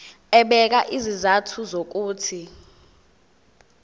ebeka izizathu zokuthi